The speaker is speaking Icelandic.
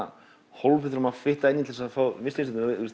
hólf við þurfum að fitta inn í til að fá Michelin stjörnu